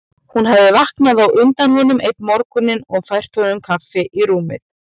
Hún hafði vaknað á undan honum einn morguninn og fært honum kaffi í rúmið.